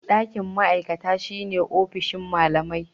Ɗakin ma'aikata shine ofishin malamai.